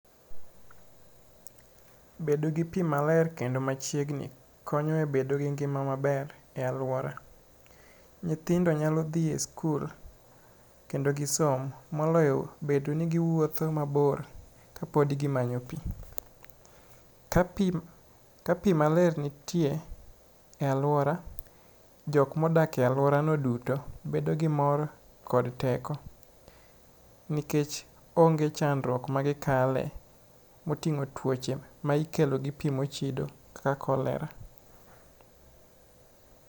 Bedo gi pi maler kendo machiegni konyo e bedo gi ngima maber e aluora. Nyithindo nyalo dhi e skul kendo gisom moloyo bedo ni giwuotho mabor ka pod gimanyo pi. Ka pi maler nitie e aluora, jok modakie aluora no duto bedo gi mor kod teko nikech onge chandruok magikalie moting'o tuoche mikelo gi pi mochidi ka kolera.